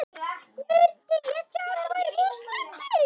Myndi ég þjálfa í Rússlandi?